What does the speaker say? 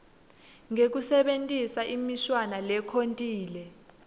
ngekusebentisa imishwana lekhontile